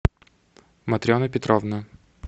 матрена петровна